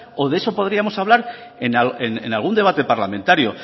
o de eso podríamos hablar en algún debate parlamentario